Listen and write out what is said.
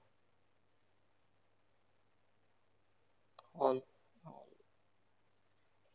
hall.